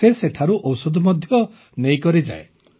ସେ ସେଠାରୁ ଔଷଧ ମଧ୍ୟ ନେଇକରି ଯାଏ